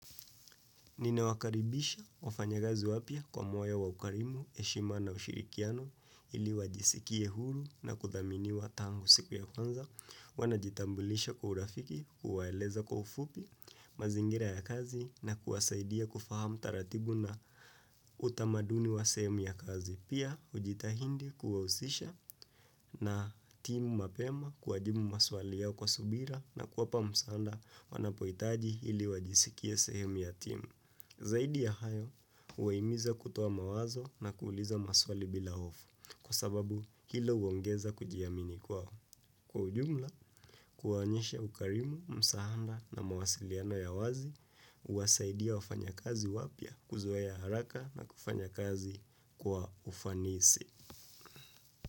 Ninawakaribisha wafanya gazi wapya kwa moyo wa ukarimu, heshima na ushirikiano ili wajisikie huru na kuthaminiwa tangu siku ya kwanza. Hua najitambulisha kwa urafiki, kuwaeleza kwa ufupi, mazingira ya kazi na kuwasaidia kufahamu taratibu na utamaduni wa sehemu ya kazi. Pia, hujitahindi kuwausisha na timu mapema kuwajibu maswali yao kwa subira na kuwapa musaanda wanapoitaji ili wajisikie sehemu ya timu. Zaidi ya hayo, huwaimiza kutuwa mawazo na kuuliza maswali bila hofu, kwa sababu hilo huongeza kujiamini kwao. Kwa ujumla, kuwaonyesha ukarimu, msaanda na mawasiliana ya wazi, huwasaidia wafanyakazi wapya, kuzoea haraka na kufanya kazi kwa ufanisi.